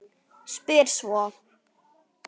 Spyr svo